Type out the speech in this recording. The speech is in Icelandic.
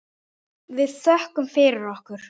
Við þökkum fyrir okkur.